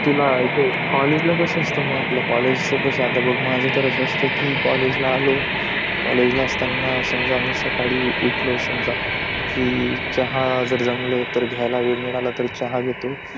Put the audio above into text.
तुला हे कॉलेजला कस असत मग आपला कॉलेज च कस माझं तर अस असत बघ कॉलेज आलो कि कॉलेज असताना मी सकाळी उठलो कि चहा वैगेरे जमल तर घ्यायला वेळ मिळाले कि चहा घेतो